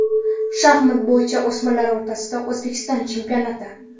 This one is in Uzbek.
Shaxmat bo‘yicha o‘smirlar o‘rtasida O‘zbekiston chempionati.